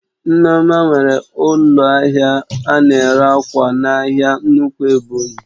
Nneoma nwere ụlọ ahịa ana ere ákwà n'ahia nnukwu Ebonyi